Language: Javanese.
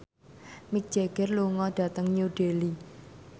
Mick Jagger lunga dhateng New Delhi